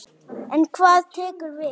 En hvað tekur við?